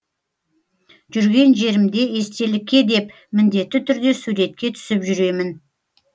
жүрген жерімде естелікке деп міндетті түрде суретке түсіп жүремін